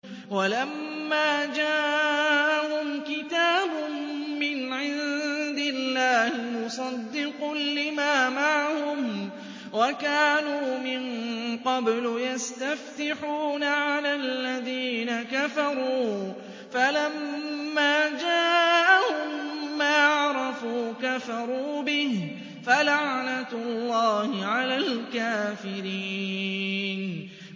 وَلَمَّا جَاءَهُمْ كِتَابٌ مِّنْ عِندِ اللَّهِ مُصَدِّقٌ لِّمَا مَعَهُمْ وَكَانُوا مِن قَبْلُ يَسْتَفْتِحُونَ عَلَى الَّذِينَ كَفَرُوا فَلَمَّا جَاءَهُم مَّا عَرَفُوا كَفَرُوا بِهِ ۚ فَلَعْنَةُ اللَّهِ عَلَى الْكَافِرِينَ